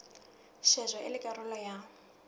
shejwa e le karolo ya